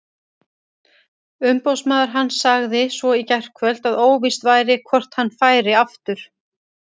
Umboðsmaður hans sagði svo í gærkvöld að óvíst væri hvort hann færi aftur.